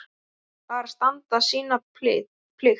Bara standa sína plikt.